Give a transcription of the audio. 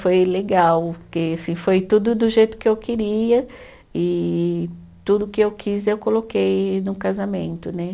Foi legal, porque assim foi tudo do jeito que eu queria e tudo que eu quis eu coloquei no casamento, né?